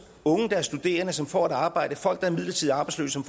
unge der er studerende og som får et arbejde og folk der er midlertidigt arbejdsløse og